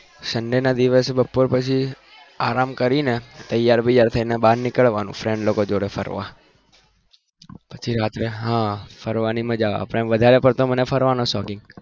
sunday ના દિવસે બપોર પછી આરામ કરીને તેયાર થઇ ને બાર નીકળવાનું friend જોડે બાર નીકળવાનું ફરવા પછી રાતે હા ફરવાની મજા આવે વધારે પડતો મને ફરવાનો શોખ